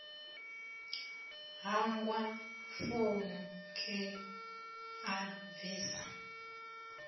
hangwa founu khei a bvisa